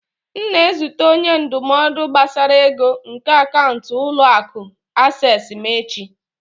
M na-ezute onye ndụmọdụ gbasara ego nke akaụntụ ụlọ akụ acesịị m echi.